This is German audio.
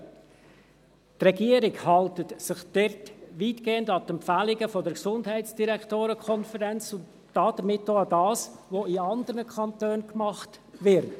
Die Regierung hält sich dort weitgehend an die Empfehlungen der Konferenz der kantonalen Gesundheitsdirektorinnen und -direktoren (GDK) und damit auch daran, was in anderen Kantonen gemacht wird.